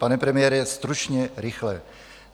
Pane premiére, stručně, rychle.